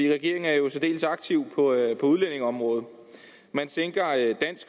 regeringen er jo særdeles aktiv på udlændingeområdet man sænker